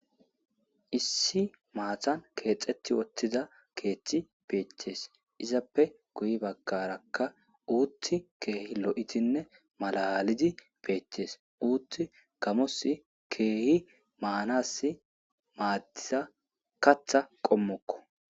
Issi maathhtan kexxetti uttiza keththi beettess izzappe guuye baagaraka uththi keehi looidinne maalaliddi beettess uththi gamos keehi maaans maadiza kaththa qomokko.